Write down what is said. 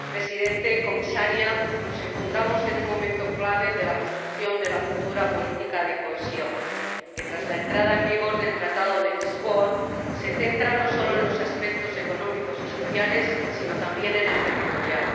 Señor Presidente, señora Comisaria, nos encontramos en un momento clave de la construcción de la futura política de cohesión que, tras la entrada en vigor del Tratado de Lisboa, se centra no sólo en los aspectos económicos y sociales sino también en el territorial.